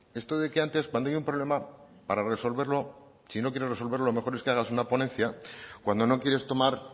esto de que antes cuando hay un problema para resolverlo si no quiere resolverlo lo mejor es que hagas una ponencia cuando no quieres tomar